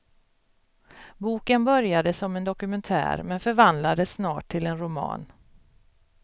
Boken började som en dokumentär men förvandlades snart till en roman.